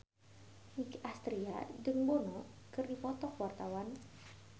Nicky Astria jeung Bono keur dipoto ku wartawan